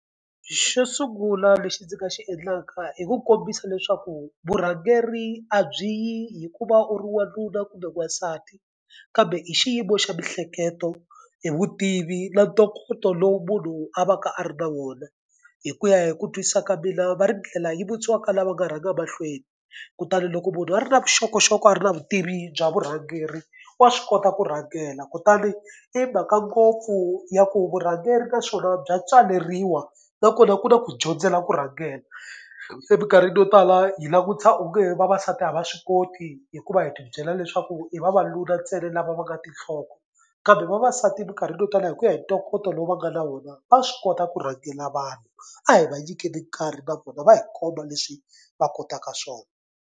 Xo sungula lexi ndzi nga xi endlaka i ku kombisa leswaku vurhangeri a byi yi hikuva u ri wanuna kambe wasati kambe i xiyimo xa miehleketo, i vutivi na ntokoto lowu munhu a va ka a ri na wona. Hi ku ya hi ku twisisa ka mina va ri ndlela yi vutisiwa ka lava nga rhanga mahlweni kutani loko munhu a ri na vuxokoxoko a ri na vutivi bya vurhangeri wa swi kota ku rhangela kutani i mhaka ngopfu ya ku vurhangeri ka swona bya tswaleriwa nakona ku na ku dyondzela ku rhangela. Se mikarhini yo tala hi langutisa onge vavasati a va swi koti hikuva hi tibyela leswaku hi vavanuna ntsena lava va nga tinhloko kambe vavasati mikarhini yo tala hi ku ya hi ntokoto lowu va nga na wona va swi kota ku rhangela vanhu. A hi va nyikile nkarhi na vona va hi komba leswi va kotaka swona.